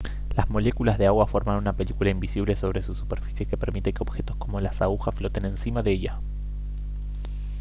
las moléculas de agua forman una película invisible sobre su superficie que permite que objetos como las agujas floten encima de ella